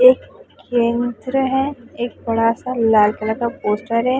एक केंद्र हैं एक बड़ा सा लाल कलर का पोस्टर हैं।